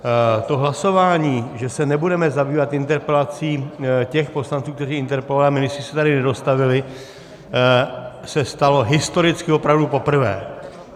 To hlasování, že se nebudeme zabývat interpelací těch poslanců, kteří interpelovali, a ministři se sem nedostavili, se stalo historicky opravdu poprvé.